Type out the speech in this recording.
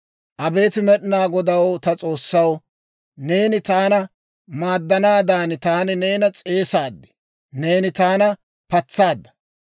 Abeet Med'inaa Godaw ta S'oossaw, neeni taana maaddanaadan, taani neena s'eesaad; neeni taana patsaadda.